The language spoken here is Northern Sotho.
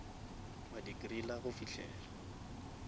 wa di griller go fihlela